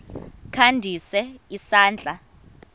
kha ndise isandla